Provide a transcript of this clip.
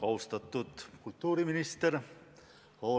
Austatud kultuuriminister!